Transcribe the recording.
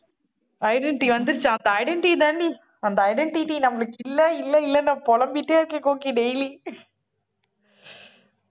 identity வந்துருச்சா அந்த identity தானே அந்த identity நம்மளுக்கு இல்ல இல்லன்னு நான் பொலம்பிட்டே இருக்கே கோக்கி daily